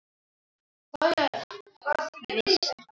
Veist allt.